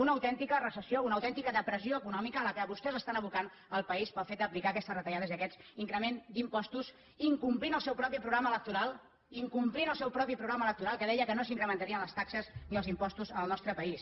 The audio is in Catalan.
una autèntica recessió una autèntica depressió econòmica a què vostès estan abocant el país pel fet d’aplicar aquestes retallades i aquests increments d’impostos incomplint el seu propi programa electoral incomplint el seu propi programa electoral que deia que no s’incrementarien les taxes ni els impostos al nostre país